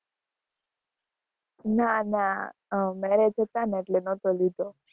ના ના, marriage હતા ને એટલે ન'તો લીધો.